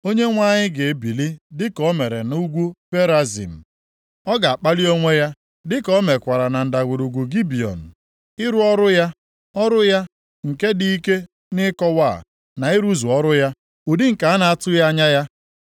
Onyenwe anyị ga-ebili dịka o mere nʼugwu Perazim, ọ ga-akpalị onwe ya dịka o mekwara na Ndagwurugwu Gibiọn, ịrụ ọrụ ya, ọrụ ya nke dị ike nʼịkọwa, na ịrụzu ọrụ ya, ụdị nke a na-atụghị anya ya.